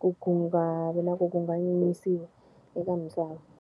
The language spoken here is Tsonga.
ku ku nga vi na ku kanganyisiwa eka misava.